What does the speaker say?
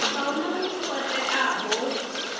a huna muthu o teaho